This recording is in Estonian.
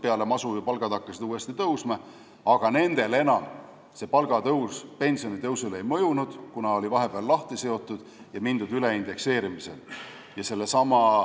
Peale masu hakkasid palgad ju uuesti tõusma, aga nende inimeste pensionile see palgatõus ei mõjunud, kuna vahepeal oli see palgaastmestikust lahti seotud ja mindud üle indekseerimisele.